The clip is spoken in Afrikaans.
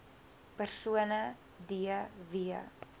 persone d w